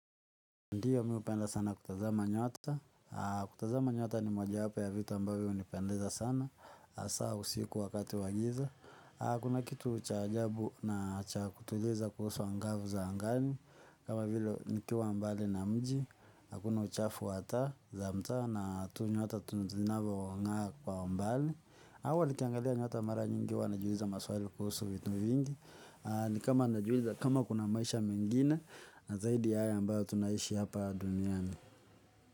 Ndiyo mimi hupenda sana kutazama nyota, kutazama nyota ni mojawapo ya vitu ambayo hunipendeza sana, hasa usiku wakati wa giza. Kuna kitu cha ajabu na cha kutuliza kuhusu angavu za angani, kama vile nikiwa mbali na mji, akuna uchafu wa taa za mta na tu nyota zinavyo ng'aa kwa umbali. Hawa ni kiangalia nyota mara nyingi huwa najiuliza maswali kuhusu vitu vingi. Ni kama najiweza kama kuna maisha mengine na zaidi ya hayo ambayo tunaishi hapa duniani.